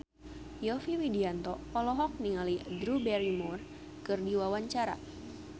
Yovie Widianto olohok ningali Drew Barrymore keur diwawancara